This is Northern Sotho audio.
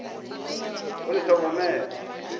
o le hlokomele le tla